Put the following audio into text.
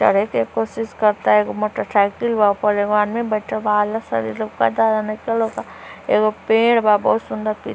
चढ़े के कोसिस करता है एगो मोटरसाइकिल बा वो एगो आदमी बैठल बा आलस एगो पेड़ बा बहुत सुन्दर प्री --